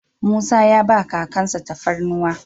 Musa ya ba kakan sa tafarnuwan.